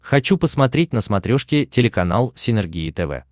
хочу посмотреть на смотрешке телеканал синергия тв